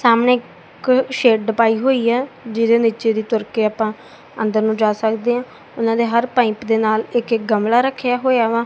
ਸਾਮਣੇ ਸ਼ੇਡ ਪਾਈ ਹੋਈ ਹ ਜਿਹਦੇ ਨੀਚੇ ਦੀ ਤੁਰ ਕੇ ਆਪਾਂ ਅੰਦਰ ਨੂੰ ਜਾ ਸਕਦੇ ਆਂ ਉਹਨਾਂ ਦੇ ਹਰ ਪਾਈਪ ਦੇ ਨਾਲ ਇੱਕ ਇੱਕ ਕਮਲਾ ਰੱਖਿਆ ਹੋਇਆ ਵਾ।